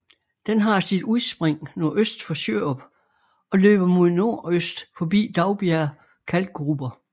Den har sit udspring nordøst for Sjørup og løber mod nordøst forbi Daugbjerg Kalkgruber